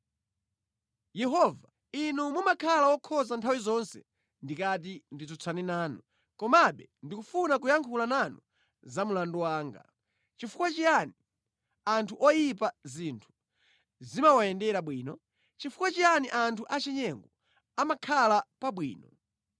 Yehova, Inu mumakhala wokhoza nthawi zonse ndikati nditsutsane nanu. Komabe ndikufuna kuyankhula nanu za mlandu wanga. Chifukwa chiyani anthu oyipa zinthu zimawayendera bwino? Chifukwa chiyani anthu achinyengo amakhala pabwino?